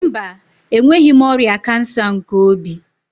Mba, enweghị m ọrịa kansa nke obi.